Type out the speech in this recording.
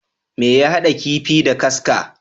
Me ya haɗa kifii da kaska?